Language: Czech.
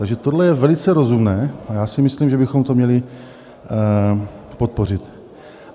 Takže tohle je velice rozumné a já si myslím, že bychom to měli podpořit.